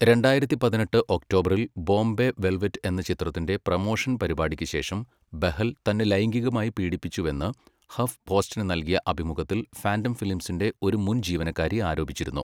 രണ്ടായിരത്തി പതിനെട്ട് ഒക്ടോബറിൽ ബോംബെ വെൽവെറ്റ് എന്ന ചിത്രത്തിന്റെ പ്രമോഷൻ പരിപാടിക്കുശേഷം ബെഹൽ തന്നെ ലൈംഗികമായി പീഡിപ്പിച്ചുവെന്ന് ഹഫ് പോസ്റ്റിന് നൽകിയ അഭിമുഖത്തിൽ ഫാൻ്റം ഫിലിംസിന്റെ ഒരു മുൻ ജീവനക്കാരി ആരോപിച്ചിരുന്നു.